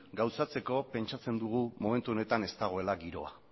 gauzatzeko pentsatzen dugu momentu honetan ez dagoela giroa